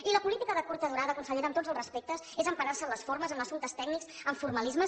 i la política de curta durada consellera amb tots els respectes és emparar se en les formes en assumptes tècnics en formalismes